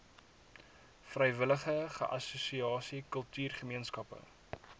vrywillige assosiasie kultuurgemeenskappe